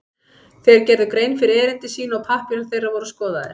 Þeir gerðu grein fyrir erindi sínu og pappírar þeirra voru skoðaðir.